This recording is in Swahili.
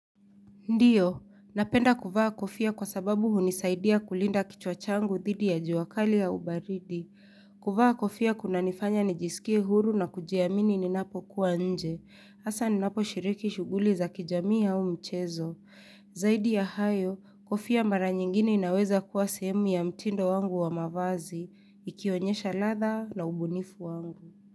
Ndiyo, napenda kuvaa kofia kwa sababu hunisaidia kulinda kichwa changu dhidi ya jua kali au baridi. Kuvaa kofia kuna nifanya nijisikie huru na kujiamini ninapo kuwa nje. hAsa ninapo shiriki shughuli za kijamii au mchezo. Zaidi ya hayo, kofia mara nyingine inaweza kuwa sehemu ya mtindo wangu wa mavazi, ikionyesha ladha na ubunifu wangu.